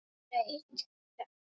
Blaut þögn.